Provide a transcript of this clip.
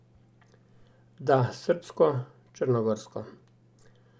Da, srbsko, črnogorsko.